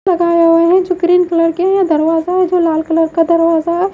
हुआ है जो ग्रीन कलर के है दरवाजा है जो लाल कलर का दरवाजा है।